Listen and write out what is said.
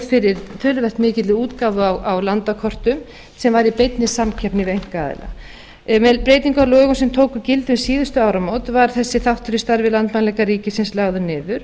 fyrir töluvert mikilli útgáfu á landakortum sem var í beinni samkeppni við einkaaðila með breytingum á lögum sem tóku gildi um síðustu áramót var þessi þáttur í starfi landmælinga ríkisins lagður niður